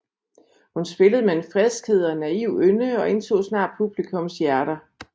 Hun spillede med en friskhed og en naiv ynde og indtog snart publikums hjerter